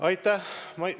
Aitäh!